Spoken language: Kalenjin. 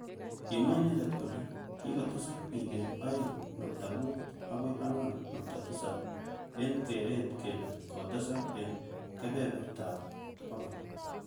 Kimwa inendet kole kikotesak bik eng aeng nukta mut akoi angwan nukta tisab eng keret kele kotesak eng kebenerta ab bokol.